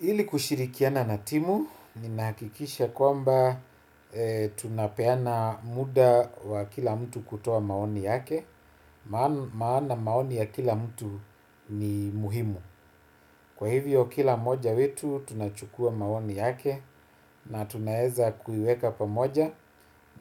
Ili kushirikiana na timu, nimehakikisha kwamba tunapeana muda wa kila mtu kutoa maoni yake, maana maoni ya kila mtu ni muhimu. Kwa hivyo kila mmoja wetu tunachukua maoni yake na tunaeza kuiweka pamoja